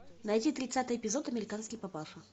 найти тридцатый эпизод американский папаша